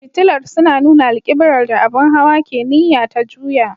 Fitilar suna nuna alƙiblar da abin hawa ke niyya ta juya.